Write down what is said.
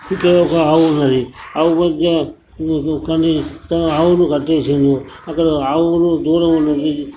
ఇక్కడ ఒక ఆవు ఉన్నది ఆవు వద్ద ఆవును కట్టిసీనడు అక్కడ ఆవులు దూడ ఉన్నది.